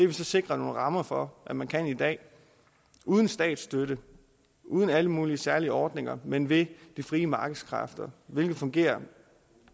vi så sikret nogle rammer for at man kan i dag uden statsstøtte uden alle mulige særlige ordninger men ved det frie markeds kræfter hvilket fungerer